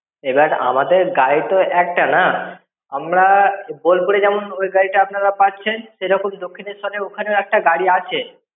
এবার আমাদের গাড়ি তো একটা না, আমরা বোলপুরে যেমন ওই গাড়িটা আপনারা পাচ্ছেন। সেরকম দক্ষিণেশ্বেরের ওখানেও একটা গাড়ি আছে।